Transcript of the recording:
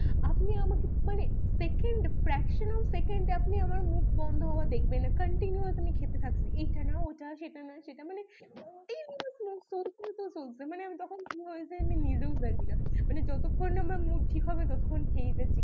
maxcimum scceound আপনি আমার মুখ বন্দ হওয়া দেখবেন না আমি cuntinuasly খেতে থাকি এটা নয় ওটা সেটা না সেটা মানে আমি কখন কে হয়ে যাই আমি নিজেও জানি না মানে যতক্ষণ না আমার মুড ঠিক হবে আমি ততক্ষনখেয়েই যাচ্ছি